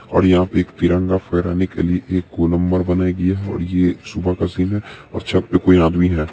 --और यहां पे एक तिरंगा फहराने के लिए एक कोलंबर बनाया गया है और ये एक सुबह का सीन है और छत पे कोई आदमी है।